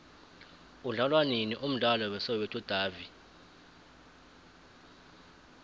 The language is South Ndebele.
udlalwanini umdlalo we soweto davi